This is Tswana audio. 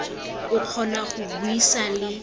o kgona go buisa le